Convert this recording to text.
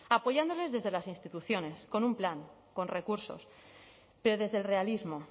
apoyándoles desde las instituciones con un plan con recursos pero desde el realismo